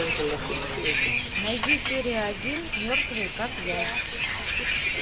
найди серия один мертвые как я